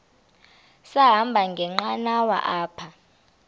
sahamba ngenqanawa apha